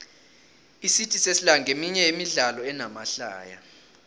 icity sesla nqeminye yemidlalo enamahlaya